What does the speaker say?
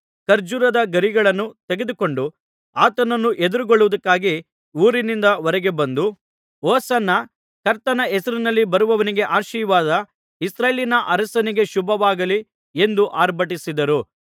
ಖರ್ಜೂರದ ಗರಿಗಳನ್ನು ತೆಗೆದುಕೊಂಡು ಆತನನ್ನು ಎದುರುಗೊಳ್ಳುವುದಕ್ಕೆ ಊರಿನಿಂದ ಹೊರಗೆ ಬಂದು ಹೊಸನ್ನ ಕರ್ತನ ಹೆಸರಿನಲ್ಲಿ ಬರುವವನಿಗೆ ಆಶೀರ್ವಾದ ಇಸ್ರಾಯೇಲಿನ ಅರಸನಿಗೆ ಶುಭವಾಗಲಿ ಎಂದು ಆರ್ಭಟಿಸಿದರು